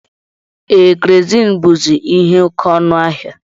Ee, kerozini buzi ihe oke ọnụ ahịa.